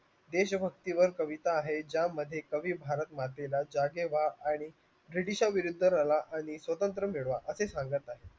देशभक्तीवर कविता आहेत ज्यामध्ये कवी भारत आणि british शा विरुद्ध लढा आणि स्वतंत्र मिळवा असे सांगत आहे